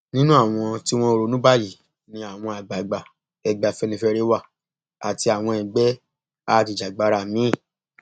nínú àwọn tí wọn ń ronú báyìí ni àwọn àgbààgbà ẹgbẹ afẹnifẹre wà àti àwọn ẹgbẹ ajìjàgbara míín